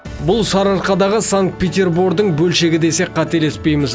бұл сарыарқадағы санкт петербордың бөлшегі десек қателеспейміз